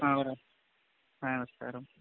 ആ, പറഞ്ഞോ, നമസ്കാരം.